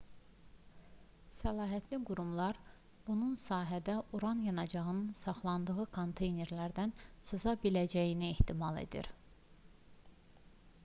səlahiyyətli qurumlar bunun sahədə uran yanacağının saxlandığı konteynerlərdən sıza biləcəyini ehtimal edir